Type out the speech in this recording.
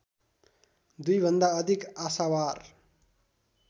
दुईभन्दा अधिक आशावार